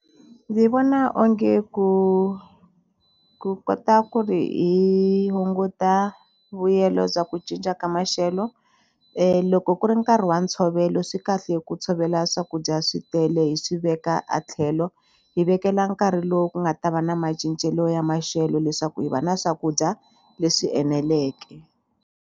Ndzi vona onge ku ku kota ku ri hi hunguta vuyelo bya ku cinca ka maxelo loko ku ri nkarhi wa ntshovelo swi kahle ku tshovela swakudya swi tele hi swi veka a tlhelo hi vekela nkarhi lowu ku nga ta va na macincelo ya maxelo leswaku hi va na swakudya leswi eneleke.